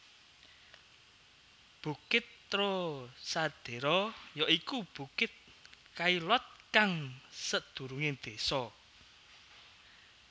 Bukit Trocadéro ya iku bukit Chaillot kang sedurunge desa